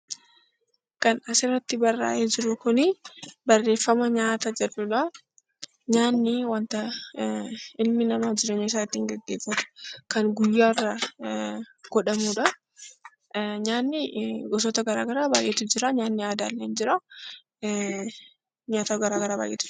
Nyaanni wanta ilmi namaa jireenya isaa ittiin gaggeeffatu kan guyyaan godhamudha. Nyaanni gosoota garaagaraa baay'eetu jiru nyaatni aadaa ni jiraa nyaata garaagaraatu jira